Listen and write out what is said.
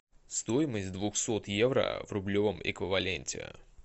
стоимость двухсот евро в рублевом эквиваленте